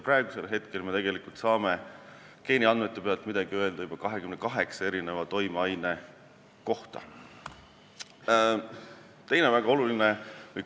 Praegu me saame geeniandmete põhjal midagi öelda juba 28 eri toimeaine kohta.